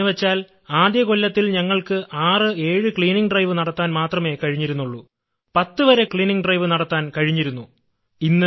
എന്നുവെച്ചാൽ ആദ്യം കൊല്ലത്തിൽ ഞങ്ങൾക്ക് 6 7 ശുചീകരണ യജ്ഞം നടത്താൻ മാത്രമേ കഴിഞ്ഞിരുന്നുള്ളൂ 10 വരെ ശുചീകരണ യജ്ഞം നടത്താൻ കഴിഞ്ഞിരുന്നു